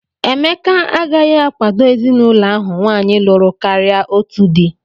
Emeka agaghị akwado ezinụlọ ahụ nwaanyị lụrụ karịa otu di